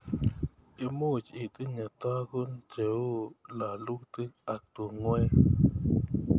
Imuch itinye tukun cheu lalutik ak tungwek.